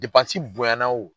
Depansi bonyana o